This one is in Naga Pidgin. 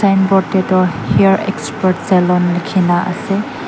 signboard teh tu hair expert salon likhina ase.